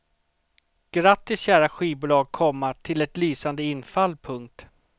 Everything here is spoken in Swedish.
Grattis kära skivbolag, komma till ett lysande infall. punkt